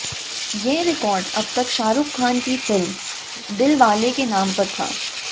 ये रिकॉर्ड अब तक शाहरुख खान की फिल्म दिलवाले के नाम पर था